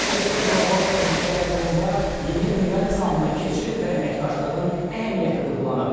Müraciətdə qlobal təhlükələr fonunda yeni dünya nizamına keçid və əməkdaşlığın əhəmiyyəti vurğulanıb.